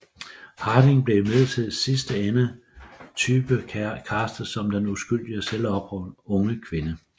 Harding blev imidlertid i sidste ende typecastet som den uskyldige selvopofrende unge kvinde